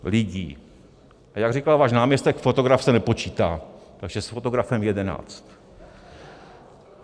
A jak říkal váš náměstek, fotograf se nepočítá, takže s fotografem jedenáct